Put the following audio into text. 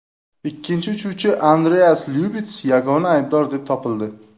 Ikkinchi uchuvchi Andreas Lyubits yagona aybdor deb topildi.